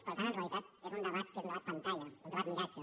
per tant en realitat és un debat que és un debat pantalla un debat miratge